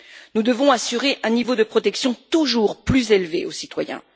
Nous devons assurer un niveau de protection toujours plus élevé aux citoyens.